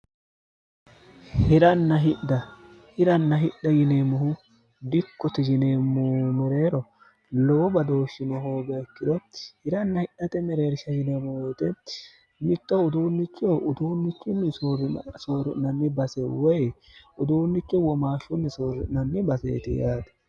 hirann hidhhiranna hidha yineemmohu dikkuti yineemmoh mereero lowo badooshshino hoogaekkirotti hiranna hidhate mereersha yineemohoote mitto utuunnichiho utuunnichinni soori'nanni base woy utuunniche womaashshunni soorri'nanni baseeti yaate